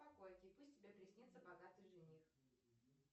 пусть тебе приснится богатый жених